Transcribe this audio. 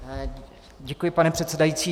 Děkuji, pane předsedající.